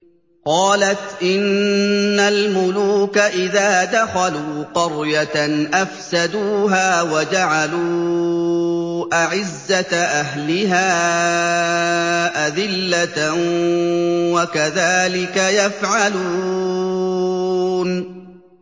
قَالَتْ إِنَّ الْمُلُوكَ إِذَا دَخَلُوا قَرْيَةً أَفْسَدُوهَا وَجَعَلُوا أَعِزَّةَ أَهْلِهَا أَذِلَّةً ۖ وَكَذَٰلِكَ يَفْعَلُونَ